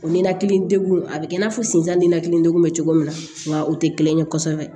O nenakili degun a bɛ kɛ i n'a fɔ sen san ni nalen degun bɛ cogo min na nka o tɛ kelen ye kosɛbɛ